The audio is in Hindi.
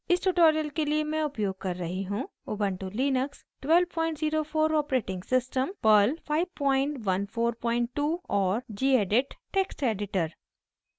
इस tutorial के लिए मैं उपयोग कर रही हूँ: